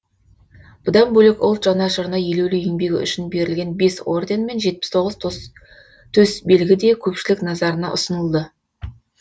бұдан бөлек ұлт жанашырына елеулі еңбегі үшін берілген бес орден мен жетпіс тоғыз төсбелгі де көпшілік назарына ұсынылды